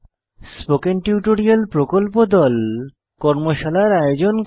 spoken tutorial প্রকল্প দল কর্মশালার আয়োজন করে